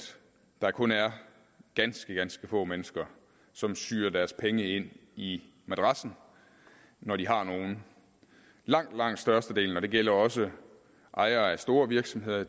der kun er ganske ganske få mennesker som syr deres penge ind i madrassen når de har nogle langt langt størstedelen og det gælder også ejere af store virksomheder